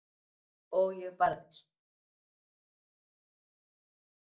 Og ég barðist.